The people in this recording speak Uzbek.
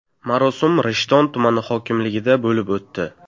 Marosim Rishton tumani hokimligida bo‘lib o‘tdi.